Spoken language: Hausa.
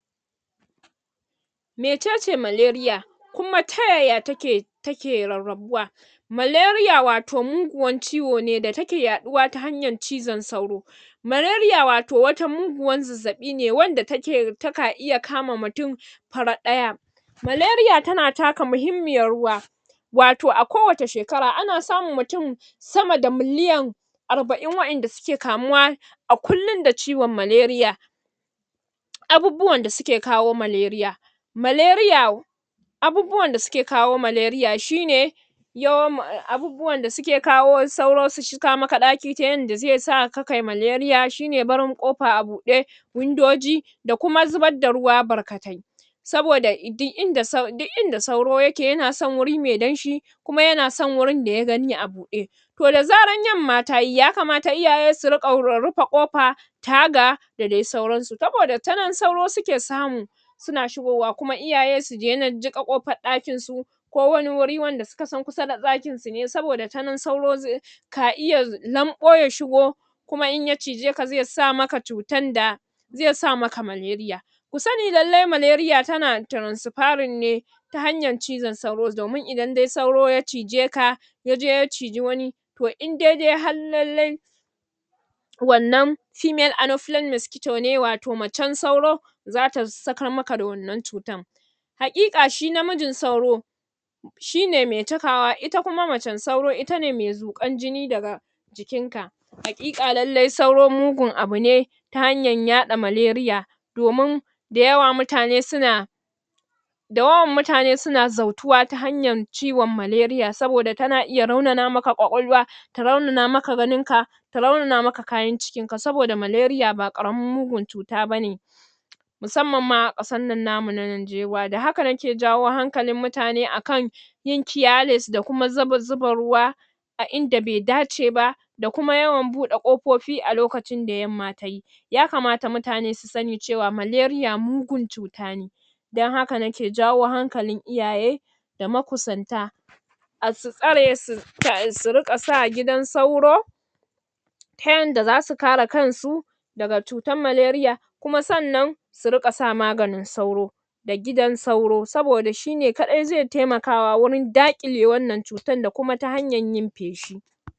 Mecece Malaria kuma ta yaya take take rarrabuwa malaria wato mugun ciwo ne da take yaɗuwa ta hanyar cizon sauro malaria wato wani muguwar zazzabi ne wanda take, taka iya kama mutume farat ɗaya malaria tana taka mahimmiyar ruwa wato a kowanne shekara ana samun mutum sama da miliyan arba'in wa'yanda suke kamuwa a kullin da ciwon malaria abubuwan da suke kawo malaria malaria abubuwan da suke kawo malaria shine yom abu um abubuwan da suke kawo sauro su shiga maka ɗaki ta yadda zai saka kai malaria shine barin ƙofa a buɗe windoji da kuma zubar da ruwa barkatai saboda dik inda dik inda sauro yake yana son wuri mai damshi kuma yana son wurin da ya gani a buɗe to da zarar yamma tayi yakamata iyaye su riƙa um rufe ƙofa taga da dai sauransu, saboda ta nan sauro suka samu suna shigowa kuma iyaye su daina jiƙa ƙofar ɗakin sa ko wani wuri wanda suka san kusa da ɗakinsu ne saboda ta nan sauro zai ka iya lamɓo ya shigo kuma in ya cije ka zai sa maka cutar da zai sa maka malaria ku sani lallai malaria tana transfarring ne ta hanyar cizon sauro, domin idan dai sauro ya cije ka yaje ya cije wani to in dai dai har lallai wannan female anopheles masquito ne wato macen sauro zata sakar maka da wannan cutar haƙiƙa shi namijin sauro shine mai cakawa, ita kuma macen sauro itane mai zuƙar jini daga jikinka haƙiƙa lallai sauro mugun abune ta hanyar yaɗa malaria domin da yawa mutane suna da wawan mutane suna zautuwa ta hanyar ciwon malaria saboda tana iya raunana maka kwakwalwa ta raunana maka ganin ka ta raunana maka kayan cikin ka, saboda malaria ba ƙaramin mugun cuta bane musamman ma a ƙasar nan tamu ta Nanjewa, da haka nake jawo hankalin mutane a kan yin careless da kuma zub zuba ruwa inda bai dace ba da kuma yawan buɗe ƙofofi a lokacin da yamma tayi yakamata mutane su sani malaria mugun cuta ne dan haka nake jawo hankalin iyaye da makusanta um su tsare suz um su riƙa sa gidan sauri ta yadda zasu kare kansu daga cutar nalaria kuma sannan su rinƙa sa maganin sauro da gidan sauro saboda shine kaɗai zai taimakawa wurin daƙile wannan cutar da kuma ta hanyar yin feshi